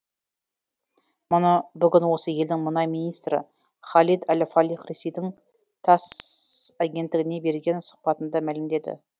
мұны бүгін осы елдің мұнай министрі халид әл фалих ресейдің тасс агенттігіне берген сұқбатында мәлімдеді